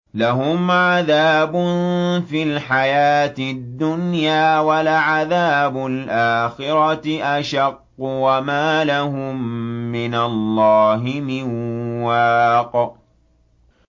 لَّهُمْ عَذَابٌ فِي الْحَيَاةِ الدُّنْيَا ۖ وَلَعَذَابُ الْآخِرَةِ أَشَقُّ ۖ وَمَا لَهُم مِّنَ اللَّهِ مِن وَاقٍ